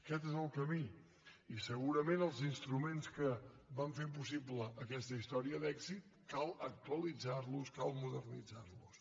aquest és el camí i segurament els instruments que van fer possible aquesta història d’èxit cal actualitzar los cal modernitzar los